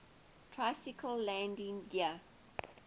tricycle landing gear